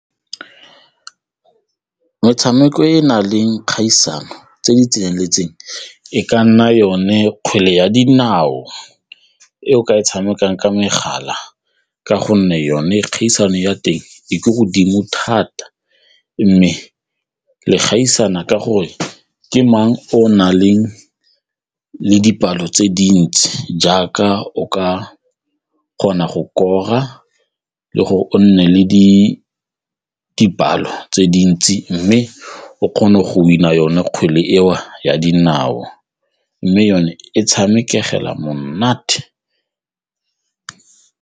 Motshameko e na leng kgaisano tse di tseneletseng e ka nna yone kgwele ya dinao e o ka e tshamekang ka megala ka gonne yone kgaisano ya teng e ko godimo thata mme le gaisana ka gore ke mang o na leng le dipalo tse dintsi jaaka o ka kgona go kora le gore o nne le dipalo tse dintsi mme o kgone go win-a yone kgwele eo ya dinao mme yone e tshamekega monate.